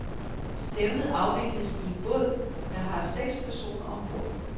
Stævnet afvikles i en båd, der har seks personer ombord.